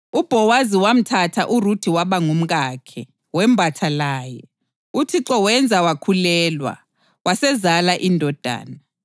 UBhowazi wamthatha uRuthe waba ngumkakhe. Wembatha laye, uThixo wenza wakhulelwa, wasezala indodana.